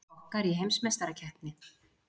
Kokkar í heimsmeistarakeppni